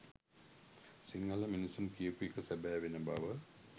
සිංහල මිනිසුන් කියපු එක සැබෑවෙන බව.